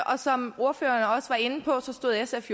og som ordføreren også var inde på stod sf